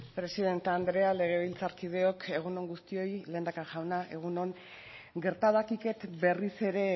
presidente andrea legebiltzarkideok egun on guztioi lehendakari jauna egun on gerta dakiket berriz ere